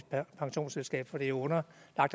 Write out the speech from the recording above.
pensionsselskab for det er underlagt